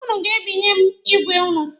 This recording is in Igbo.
Ụnụ ga-ebinye m igwe ụnụ.